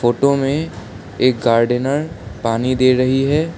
Photo में एक gardener पानी दे रही है।